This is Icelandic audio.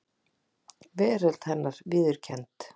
Veröld hennar viðurkennd.